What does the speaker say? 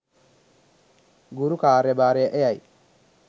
ගුරු කාර්යභාරය එයයි.